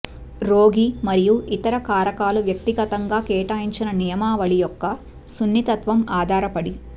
రోగి మరియు ఇతర కారకాలు వ్యక్తిగతంగా కేటాయించిన నియమావళి యొక్క సున్నితత్వం ఆధారపడి